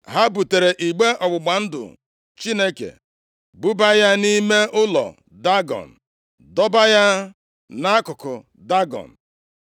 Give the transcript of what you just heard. Ha butere igbe ọgbụgba ndụ Chineke, buba ya nʼime ụlọ Dagọn, + 5:2 Dagọn bụ arụsị kachasị arụsị ndị ọzọ nke ndị Filistia na-efe. Gụọ ihe nkọwa banyere ya na \+xt Nkp 16:23\+xt* dọba ya nʼakụkụ Dagọn.